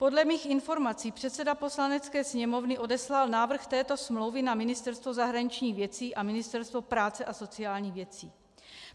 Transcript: Podle mých informací předseda Poslanecké sněmovny odeslal návrh této smlouvy na Ministerstvo zahraničních věcí a Ministerstvo práce a sociálních věcí.